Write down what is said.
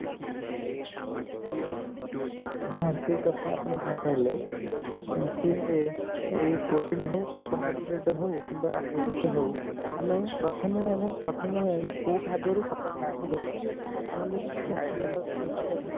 ହଁ ଠିକ କଥା ଆପଣ ଯାହା କହିଲେ ସିଏ ଏଇ protein ହଉ carbohydrate ହଉ କିମ୍ବା କିଛି ହଉ ଆମେ ପ୍ରଥମେ ଆମେ ପ୍ରଥମେ କୋଉ ଖାଦ୍ୟରୁ ଆମର ଯଦି କିଛି idea